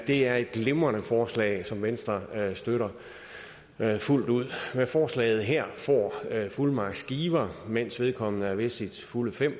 det er et glimrende forslag som venstre støtter fuldt ud med forslaget her får fuldmagtsgiver mens vedkommende er ved sine fulde fem